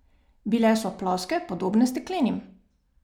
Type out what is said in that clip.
Bile so ploske, podobne steklenim.